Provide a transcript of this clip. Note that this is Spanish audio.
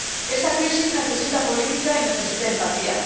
Esta crisis necesita política y necesita empatía.